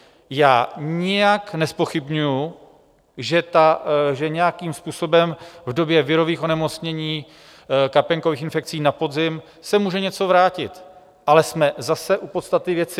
Já nijak nezpochybňuji, že nějakým způsobem v době virových onemocnění, kapénkových infekcí na podzim se může něco vrátit, ale jsme zase u podstaty věci.